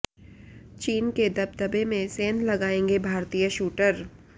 चीन के दबदबे में सेंध लगाएंगे भारतीय शूटर